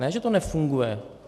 Ne že to nefunguje!